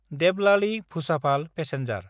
देबलालि–भुसाभाल passenger